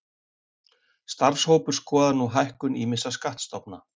Starfshópur skoðar nú hækkun ýmissa skattstofna